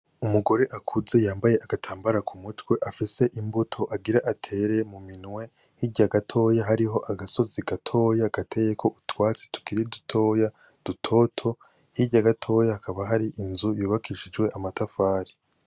Umugore akuze yambaye agatambara k'umutwe, afise imbuto agira atere mu minwe, hirya gato hariho agasozi gatoyi gateyeko utwatsi tukiri dutoya dutoto, hirya gato hakaba hari inzu yubakishijwe amatafari.